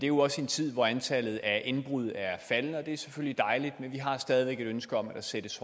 jo også i en tid hvor antallet af indbrud er faldende og det er selvfølgelig dejligt men vi har stadig væk et ønske om at der sættes